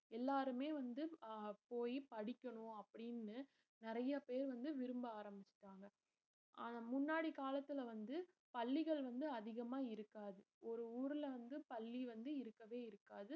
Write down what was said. எல்லாருமே வந்து அஹ் போய் படிக்கணும் அப்படின்னு நிறைய பேர் வந்து விரும்ப ஆரம்பிச்சுட்டாங்க அஹ் முன்னாடி காலத்துல வந்து பள்ளிகள் வந்து அதிகமா இருக்காது ஒரு ஊர்ல வந்து பள்ளி வந்து இருக்கவே இருக்காது